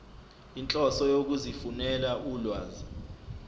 inhloso yokuzifunela ulwazi